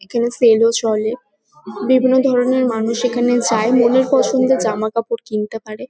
এখানে সেল -ও চলে । বিভিন্ন ধরণের মানুষ এখানে যায় মনের পছন্দের জামাকাপড় কিনতে পারে।